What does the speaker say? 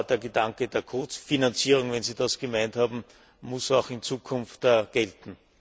Der Gedanke der Ko Finanzierung, wenn Sie das gemeint haben, muss auch in Zukunft gelten.